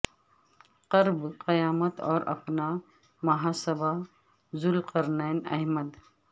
قرب قیامت اور اپنا محاسبہ ذوالقرنین احمد